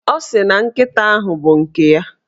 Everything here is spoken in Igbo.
Ọ sị na nkịta ahụ bụ nke ya.